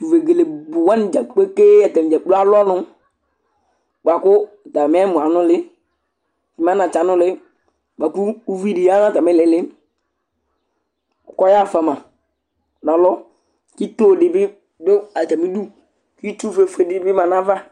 Tʋ vegele bʋ wanɩ dza kpekee atanɩ dza kplo alʋ ɔnʋ bʋa kʋ atamɩ ɛmɔ yɛ anʋlɩ, mɛ anatsɛ anʋlɩ bʋa kʋ uvi dɩ ya nʋ atamɩ ɩɩlɩ kʋ ɔya fʋa ma nʋ alɔ kʋ ito dɩ bɩ dʋ atamɩdu Itsufuefue dɩnɩ bɩ ma nʋ ayava